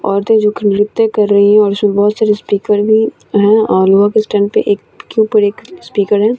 औरतें जोखम जुखे कर रही है और उसमे बोहोत सारी स्पीकर भी है और वहा पे स्टेज पे एक स्पीकर है।